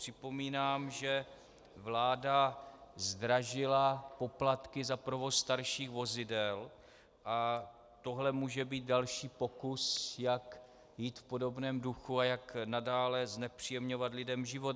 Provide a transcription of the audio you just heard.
Připomínám, že vláda zdražila poplatky za provoz starších vozidel a tohle může být další pokus, jak jít v podobném duchu a jak nadále znepříjemňovat lidem život.